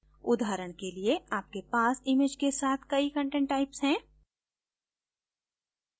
उदाहरण के लिए आपके पास इमैज के साथ कई content types हैं